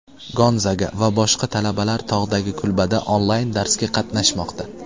Gonzaga va boshqa talabalar tog‘dagi kulbada onlayn darsga qatnashmoqda.